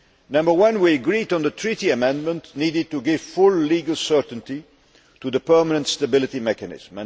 Number one we agreed on the Treaty amendment needed to give full legal certainty to the permanent Stability Mechanism.